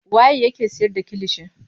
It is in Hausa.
Waye yake siyar da kilishi.